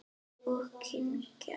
Og kyngja.